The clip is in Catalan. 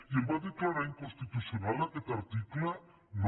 i el va declarar inconstitucional aquest article no